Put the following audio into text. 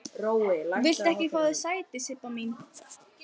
Viltu ekki fá þér sæti, Sibba mín?